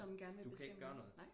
Som gerne vil bestemme alt